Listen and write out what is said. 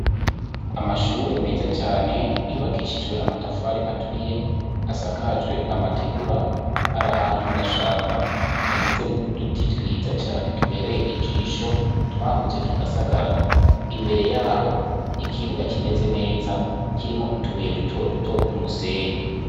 Amashure meza cane yubakishijwe amatafari aturiye, asakajwe amategura, ari ahantu mu gashamba hagizwe n'uduti twiza cane tubereye ijisho, twakuze tugasagarara. Imbere y'aho , ikibuga kimeze neza kirimwo utubuye dutoduto mu musenyi.